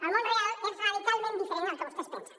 el món real és radicalment diferent del que vostès pensen